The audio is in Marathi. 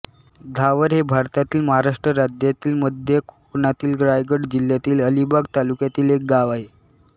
धावर हे भारतातील महाराष्ट्र राज्यातील मध्य कोकणातील रायगड जिल्ह्यातील अलिबाग तालुक्यातील एक गाव आहे